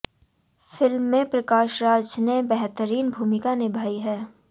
film में प्रकाश राज ने बेहतरीन भूमिका निभाई है